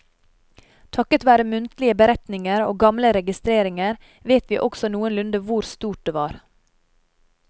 Takket være muntlige beretninger og gamle registreringer vet vi også noenlunde hvor stort det var.